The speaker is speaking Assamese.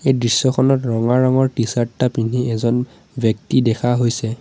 দৃশ্যখনত ৰঙা ৰঙৰ টি-চাৰ্ট এটা পিন্ধি এজন ব্যক্তি দেখা গৈছে।